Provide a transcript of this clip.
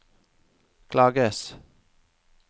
klages